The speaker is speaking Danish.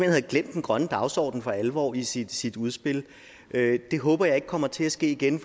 havde glemt den grønne dagsorden for alvor i sit sit udspil det håber jeg ikke kommer til at ske igen